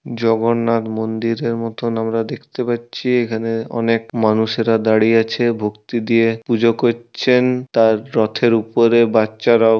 জগন্নাথ মন্দিরের মতন আমরা দেখতে পাচ্ছি। এখানে অনেক মানুষেরা দাঁড়িয়ে আছে। ভক্তি দিয়ে পুজো করছেন। তার রথের উপরে বাচ্চারাও।